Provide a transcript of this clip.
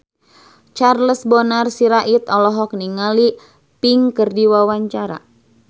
Charles Bonar Sirait olohok ningali Pink keur diwawancara